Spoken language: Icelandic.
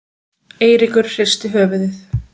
Eiríkur hristi höfuðið.